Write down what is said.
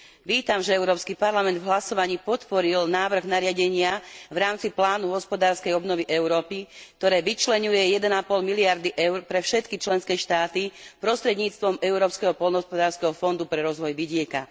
Vítam, že Európsky parlament v hlasovaní podporil návrh nariadenia v rámci Plánu hospodárskej obnovy Európy, ktoré vyčleňuje 1,5 miliardy EUR pre všetky členské štáty prostredníctvom Európskeho poľnohospodárskeho fondu pre rozvoj vidieka.